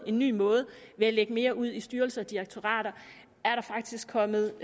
ny måde ved at lægge mere ud i styrelser og direktorater er der faktisk kommet